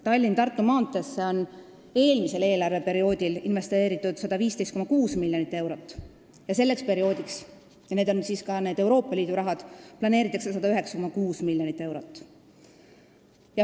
Tallinna–Tartu maanteesse investeeriti eelmisel eelarveperioodil 115,6 miljonit eurot ja selleks perioodiks – see on ka see Euroopa Liidu raha – planeeritakse 109,6 miljonit eurot.